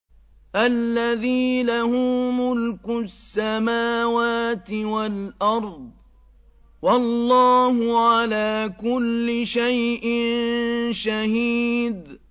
الَّذِي لَهُ مُلْكُ السَّمَاوَاتِ وَالْأَرْضِ ۚ وَاللَّهُ عَلَىٰ كُلِّ شَيْءٍ شَهِيدٌ